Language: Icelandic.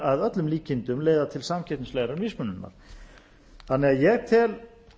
að öllum líkindum leiða til samkeppnislegrar mismununar ég tel